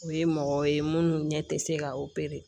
O ye mɔgɔ ye munnu ɲɛ tɛ se ka